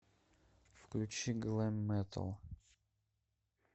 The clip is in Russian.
включи глэм метал